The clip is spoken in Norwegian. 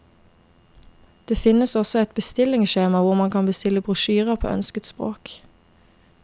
Det finnes også et bestillingskjema hvor man kan bestille brosjyrer på ønsket spåk.